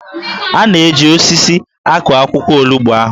A na-eji osisi akụ akwụkwọ olugbo ahụ